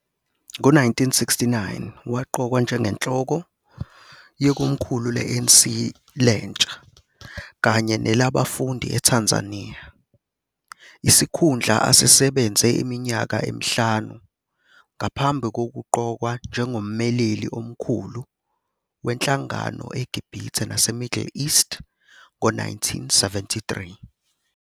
Ngo-1969 waqokwa njengenhloko yekomkhulu le-ANC lentsha kanye nelabafundi eTanzania, isikhundla asisebenze iminyaka emihlanu ngaphambi kokuqokwa njengommeleli omkhulu wenhlangano eGibhithe naseMiddle East ngo-1973.